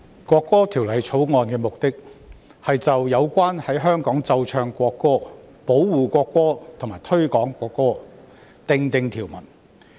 《國歌條例草案》的目的，是就有關在香港奏唱國歌、保護國歌及推廣國歌訂定條文。